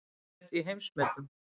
Heimsmet í heimsmetum